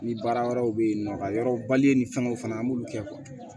Ni baara wɛrɛw bɛ yen nɔ ka yɔrɔ bali ni fɛngɛw fana an b'olu kɛ